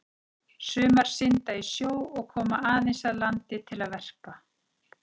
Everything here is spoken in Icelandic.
Sumar synda í sjó og koma aðeins að landi til að verpa.